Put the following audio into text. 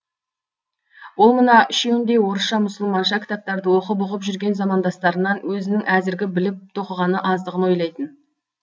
ол мына үшеуіндей орысша мұсылманша кітаптарды оқып ұғып жүрген замандастарынан өзінің әзіргі біліп тоқығаны аздығын ойлайтын